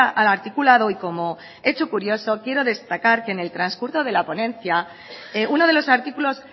al articulado y como hecho curioso quiero destacar que en el transcurso de la ponencia uno de los artículos